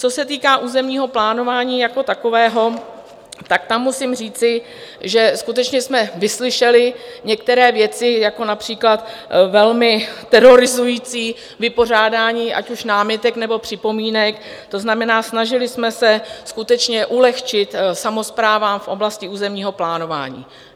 Co se týká územního plánování jako takového, tak tam musím říci, že skutečně jsme vyslyšeli některé věci, jako například velmi terorizující vypořádání ať už námitek, nebo připomínek, to znamená, snažili jsme se skutečně ulehčit samosprávám v oblasti územního plánování.